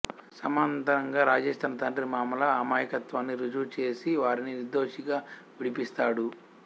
సమాంతరంగా రాజేష్ తన తండ్రి మామల అమాయకత్వాన్ని రుజువు చేసి వారిని నిర్దోషిగా విడిపిస్తాడు